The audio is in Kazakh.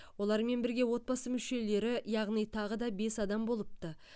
олармен бірге отбасы мүшелері яғни тағы да бес адам болыпты